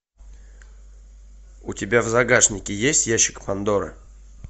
у тебя в загашнике есть ящик пандоры